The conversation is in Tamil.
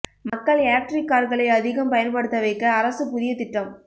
மக்கள் எலெக்ட்ரிக் கார்களை அதிகம் பயன்படுத்த வைக்க அரசு புதிய திட்டம்